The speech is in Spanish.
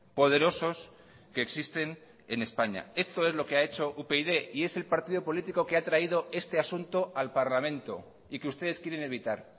poderosos que existen en españa esto es lo que ha hecho upyd y es el partido político que ha traído este asunto al parlamento y que ustedes quieren evitar